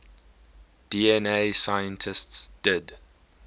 dna scientists did